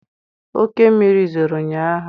Oke mmiri zoro ụnyaahụ.